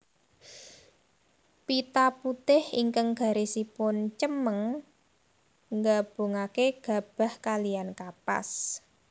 Pita putih ingkang garisipun cemeng ngabungaké gabah kaliyan kapas